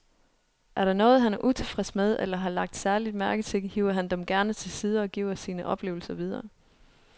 Er der noget, han er utilfreds med eller har lagt særlig mærke til, hiver han dem gerne til side og giver sine oplevelser videre.